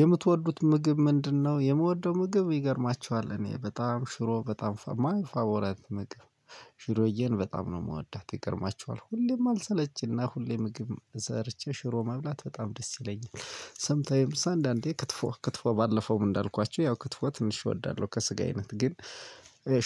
የምትወዱት ምግብ ምንድነው? የምወደው ምግብ ይገርማችኋል እኔ በጣም ሽሮ በጣም ፋቦራይት ምግብ። ሽሮዬን በጣም ነው እምወዳት ይገርማችኋል። ሁሌም አልሰለች ሁሌ ምግብ ደርቼ ሽሮ መብላት በጣም ደስ ይለኛል። ሰምታይምስ አንዳንዴ ክትፎ ክትፎ ባለፈውም እንዳልኳችሁ ያው ክትፎ ትንሽ እወዳለሁ ከስጋ አይነት ግን።